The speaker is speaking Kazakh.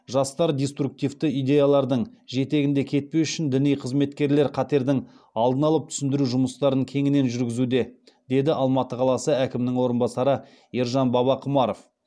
жастар деструктивті идеялардың жетегінде кетпес үшін діни қызметкерлер қатердің алдын алып түсіндіру жұмыстарын кеңінен жүргізуде деді алматы қаласы әкімінің орынбасары ержан бабақұмаров